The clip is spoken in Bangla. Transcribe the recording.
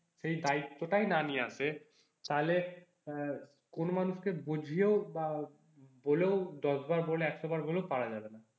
সেই দায়িত্বটাই না নিয়ে আসে, তাহলে আহ কোন মানুষকে বুঝিয়েও বা বলেও দশ বার বলো একশো বার বলো পারা যাবে না।